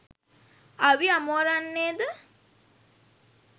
අවි අමෝරන්නේ ද